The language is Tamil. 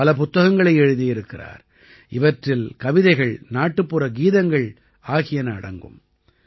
இவர் பல புத்தகங்களை எழுதியிருக்கிறார் இவற்றில் கவிதைகள் நாட்டுப்புற கீதங்கள் ஆகியன அடங்கும்